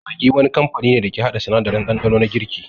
Maggi wani kamfani ne dake haɗa sanadarin ɗanɗano na girki